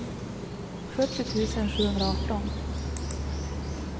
sjuttio tusen sjuhundraarton